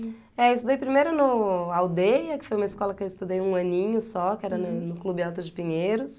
É, eu estudei primeiro no Aldeia, que foi uma escola que eu estudei um aninho só, que era no no Clube Alto de Pinheiros.